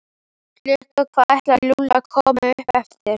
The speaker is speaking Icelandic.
Klukkan hvað ætlaði Lúlli að koma upp eftir?